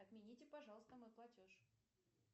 отмените пожалуйста мой платеж